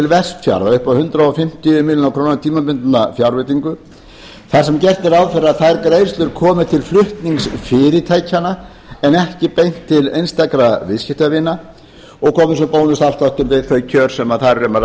vestfjarða upp á hundrað fimmtíu milljónir króna tímabundna fjárveitingu þar sem gert er ráð fyrir að þær greiðslur komi til flutningsfyrirtækjanna en ekki beint til einstakra viðskiptavina og komi svo bónusafsláttur við þau kjör sem þar er um að